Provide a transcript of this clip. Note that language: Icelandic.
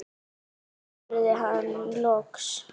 spurði hann loks.